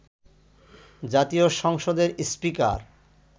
জাতীয় সংসদের স্পীকার